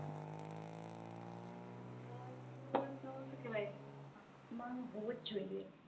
સુ કેવાય મન હોજોજ જોઈએ